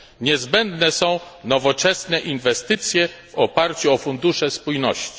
Niezbędne są nowoczesne inwestycje w oparciu o fundusze spójności.